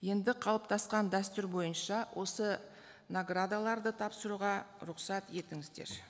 енді қалыптасқан дәстүр бойынша осы наградаларды тапсыруға рұқсат етіңіздер